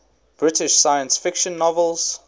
british science fiction novels